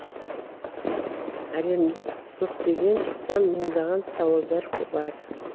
әлемде көптеген сан мыңдаған сауалдар бар